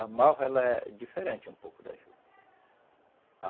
A malva ela é diferente um pouco da juta.